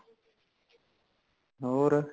ਹੋਰ